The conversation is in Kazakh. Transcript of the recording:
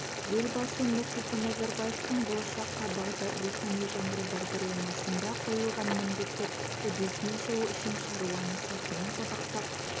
елбасы нұрсұлтан назарбаевтың болашаққа бағдар рухани жаңғыру бағдарламасында қойылған міндеттер үдесінен шығу үшін шаруаны сәтімен сабақтап